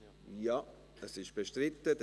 – Ja, es ist bestritten.